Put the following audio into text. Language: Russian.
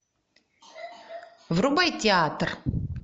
врубай театр